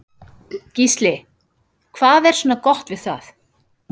Gísli: Hvað er svona gott við það?